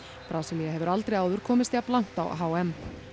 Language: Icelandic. Brasilía hefur aldrei áður komist jafn langt á h m